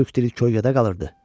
Türk dili köydə qalırdı.